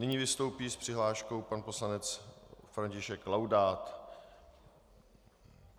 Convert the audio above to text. Nyní vystoupí s přihláškou pan poslanec František Laudát.